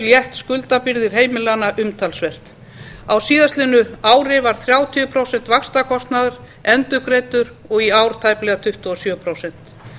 létt skuldabyrðar heimilanna umtalsvert á síðasta ári voru þrjátíu prósent vaxtakostnaðar endurgreidd og í ár tæplega tuttugu og sjö prósent